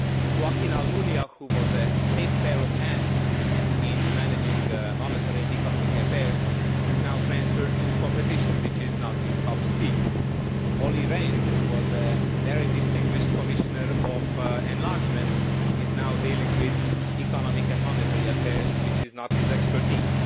Joaquín Almunia, who was a safe pair of hands in managing monetary and economic affairs, is now transferred to competition, which is not his cup of tea. Olli Rehn, who was a very distinguished Commissioner for enlargement, is now dealing with economic and monetary affairs, which is not his expertise.